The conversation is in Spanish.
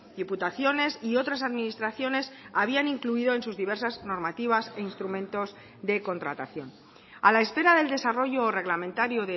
diputaciones y otras administraciones habían incluido en sus diversas normativas e instrumentos de contratación a la espera del desarrollo reglamentario